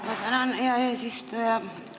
Ma tänan, hea eesistuja!